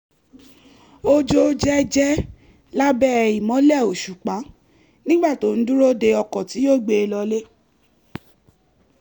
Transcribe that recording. ó jó jẹ́jẹ́ lábẹ́ ìmọ́lẹ̀ òṣùpá nígbà tó ń dúró de ọkọ̀ tí yóò gbé e lọlé